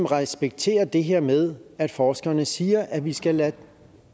respekterer det her med at forskerne siger at vi skal lade